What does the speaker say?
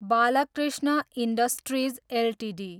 Balkrishna industries Ltd